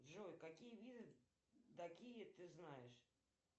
джой какие виды дакии ты знаешь